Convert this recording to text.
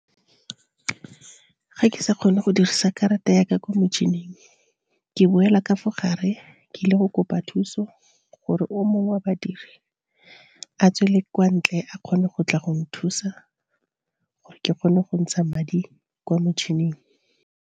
Ga ke sa kgone go dirisa karata yaka kwa motšhining ke boela ka fo gare, ke ile go kopa thuso gore o mongwe wa badiri a tswele kwa ntle a kgone go tla go nthusa, gore ke kgone go ntsha madi kwa motšhining.